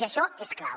i això és clau